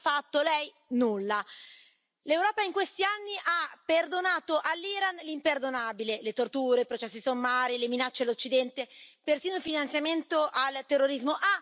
Che cosa ha fatto lei? Nulla. L'Europa in questi anni ha perdonato all'Iran l'imperdonabile le torture, processi sommari, le minacce all'Occidente, persino il finanziamento al terrorismo.